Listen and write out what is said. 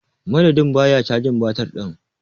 Madadin ba ya cajin batir din.